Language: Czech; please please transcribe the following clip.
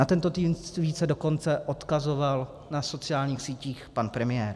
Na tento tweet se dokonce odkazoval na sociálních sítích pan premiér.